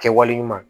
Kɛwale ɲuman